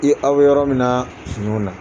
I aw yɔrɔ min na finiw na.